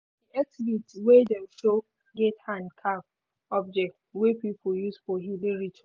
di exhibit wey dem show get hand-carved object wey people use for healing rituals.